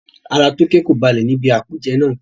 Ara Toke kò balẹ̀ ní ibi àpèjẹ náà.